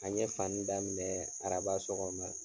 An ye fani daminɛ araba sɔgɔma